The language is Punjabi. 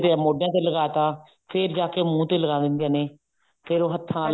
ਮੋਢਿਆਂ ਤੇ ਲਗਾਤਾ ਫੇਰ ਜਾਕੇ ਮੂੰਹ ਤੇ ਲਗਾ ਦਿੰਦੇ ਨੇ ਫੇਰ ਉਹ ਹੱਥਾਂ